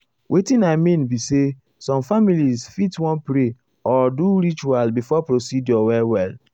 wetin i mean be say some families fit wan pray or do ritual before procedure well well.